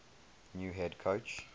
new head coach